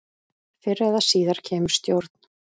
Fyrr eða síðar kemur stjórn.